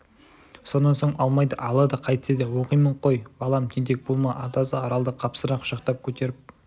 сонан соң алмайды алады қайтсе де оқимын қой балам тентек болма атасы аралды қапсыра құшақтап көтеріп